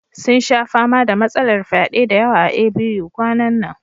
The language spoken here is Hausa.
Sun sha fama da matsalar fyade da yawa a A.B.U kwanan nan